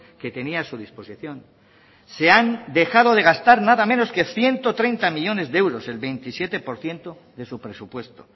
que tenía a su disposición se han dejado de gastar nada menos que ciento treinta millónes de euros el veintisiete por ciento de su presupuesto